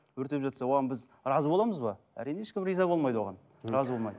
өртеп жатса оған біз разы боламыз ба әрине ешкім риза болмайды оған разы болмайды